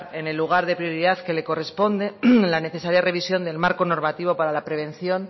en el lugar de prioridad que le corresponde la necesaria revisión del marco normativo para la prevención